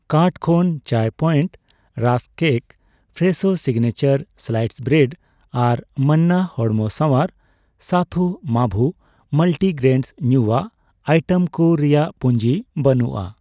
Cart ᱠᱷᱚᱱ Chai Point rusk cake, Fresho signature sliced bread ᱟᱨ ᱢᱟᱱᱱᱟ ᱦᱚᱲᱢᱚ ᱥᱟᱣᱟᱨ ᱥᱟᱛᱷᱩ ᱢᱟᱵᱷᱩ ᱢᱟᱞᱴᱤᱜᱨᱮᱱᱰ ᱧᱩᱭᱟᱜ ᱟᱭᱴᱮᱢ ᱠᱩ ᱨᱮᱭᱟᱜ ᱯᱩᱧᱡᱤ ᱵᱟᱹᱱᱩᱜᱼᱟ ᱾